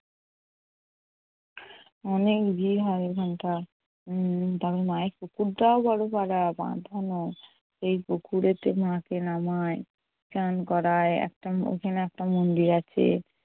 অনেক ভিড় হয় ওখানটা। উম তবে মায়ের পুকুরটাও বড় এই পুকুরেতে মাকে নামায়, স্নান করায়। একটা ওখানে একটা মন্দির আছে।